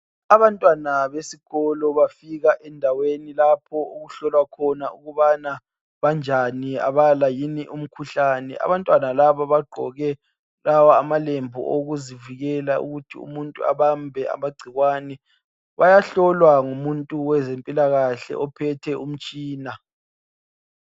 Abantwana besikolo bafika endaweni lapho okuhlolwa khona ukubana banjani, abala yini umkhuhlane. Abantwana laba bagqoke lawa amalembu okuzivikela ukuthi umuntu abambe amagcikwane. Bayahlolwa ngumuntu owezempilakahle ophethe umtshina.